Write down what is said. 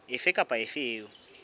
efe kapa efe eo e